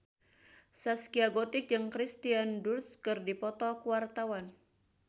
Zaskia Gotik jeung Kirsten Dunst keur dipoto ku wartawan